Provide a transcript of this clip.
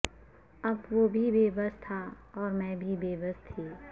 اب وہ بھی بے بس تھا اور میں بھی بے بس تھی